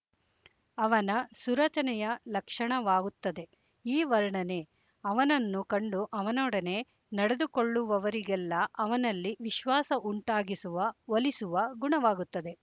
ಅವನ ಸುರಚನೆಯ ಲಕ್ಷಣವಾಗುತ್ತದೆ ಈ ವರ್ಣನೆ ಅವನನ್ನು ಕಂಡು ಅವನೊಡನೆ ನಡೆದುಕೊಳ್ಳುವವರಿಗೆಲ್ಲ ಅವನಲ್ಲಿ ವಿಶ್ವಾಸ ಉಂಟಾಗಿಸುವ ಒಲಿಸುವ ಗುಣವಾಗುತ್ತದೆ